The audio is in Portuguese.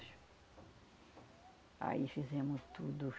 Aí fizemos tudo.